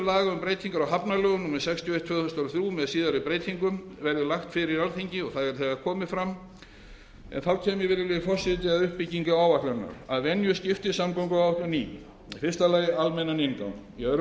laga um breytingar á hafnalögum númer sextíu og eitt tvö þúsund og þrjú með síðari breytingum verði lagt fyrir alþingi og það er þegar komið fram en þá kem ég virðulegi forseti að uppbyggingu áætlunarinnar að venju skiptist samgönguáætlunin í fyrsta almennan inngang annars